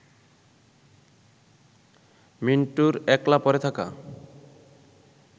মিন্টুর একলা পড়ে থাকা